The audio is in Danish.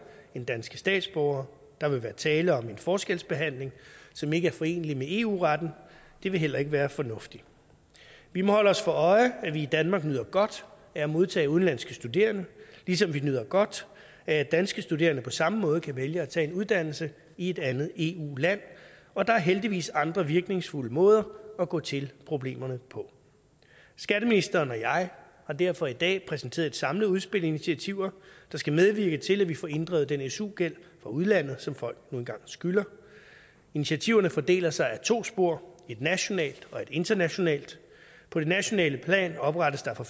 end danske statsborgere der vil være tale om en forskelsbehandling som ikke er forenelig med eu retten det vil heller ikke være fornuftigt vi må holde os for øje at vi i danmark nyder godt af at modtage udenlandske studerende ligesom vi nyder godt af at danske studerende på samme måde kan vælge at tage en uddannelse i et andet eu land og der er heldigvis andre virkningsfulde måder at gå til problemerne på skatteministeren og jeg har derfor i dag præsenteret et samlet udspil af initiativer der skal medvirke til at vi får inddrevet den su gæld fra udlandet som folk nu engang skylder initiativerne fordeler sig på to spor et nationalt og et internationalt på det nationale plan oprettes der for